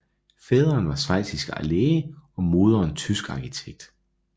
Faderen var schweizisk læge og moderen tysk arkitekt